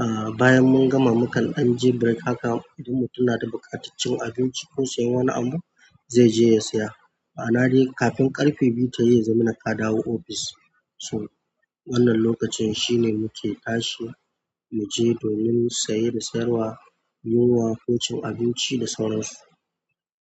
Ah bayan mun gama, mukan ɗan je break. Haka duk mu mutun ya da buƙatar cin abinci ko sayan wani abu zai je ya saya. Amma dai kafin ƙarfe biyu ta yi, ya zama nakadawo ofis. So wannan lokacin shine muke tashi mu je domin saye da sayarwa, yin waƙoƙin abinci da sauransu.